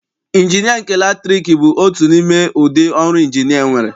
Ịnjinịa nke latriki bụ otu n'ime ụdị ọrụ Ịnjinịa enwere.